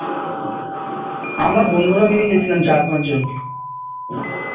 আমরা বন্ধুরা মিলে গিয়েছিলাম চার পাঁচজন